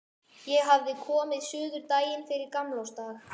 Ég hafði komið suður daginn fyrir gamlársdag.